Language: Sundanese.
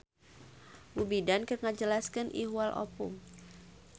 Bu Bidan keur ngajelaskan ihwal ovum